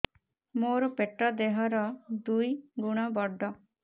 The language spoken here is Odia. ମୋର ପେଟ ଦେହ ର ଦୁଇ ଗୁଣ ବଡ